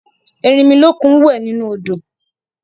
Erinmilókun wẹ̀ nínú odò